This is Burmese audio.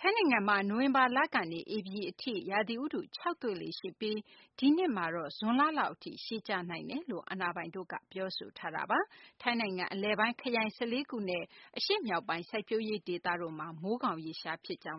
ထိုင်းနိုင်ငံမှာ နိုဝင်ဘာကနေ ဧပြီလအထိ ရာသီဥတု ခြောက်သွေ့လေ့ ရှိပြီး ဒီနှစ်မှာတော့ ဇွန်လလောက် အထိ ရှည်ကြာနိုင်တယ်လို့လည်း အာဏာပိုင်တို့က ပြောဆိုထားတာပါ။ ထိုင်းနိုင်ငံ အလယ်ပိုင်းက ခရိုင် ၁၄ ခုနဲ့ အရှေ့မြောက်ပိုင်း စိုက်ပျိုးရေး ဒေသတို့မှာ မိုးခေါင်ရေရှား ဖြစ်ကြောင်း